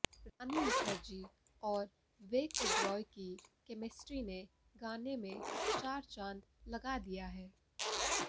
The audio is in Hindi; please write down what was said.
रानी मुखर्जी और विवेक ओबेरॉय की केमेस्ट्री ने गाने में चार चांद लगा दिया है